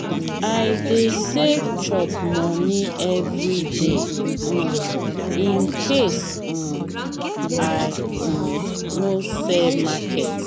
i dey save chop moni everyday um incase um i um no sell market.